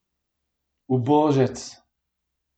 Ubožec!